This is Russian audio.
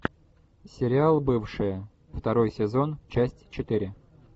сериал бывшие второй сезон часть четыре